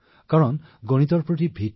কাৰণ গণিতৰ ভয়ে সকলোকে পীড়িত কৰে